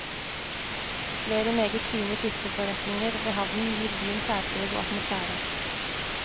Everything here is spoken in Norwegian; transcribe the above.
Flere meget fine fiskeforretninger ved havnen gir byen særpreg og atmosfære.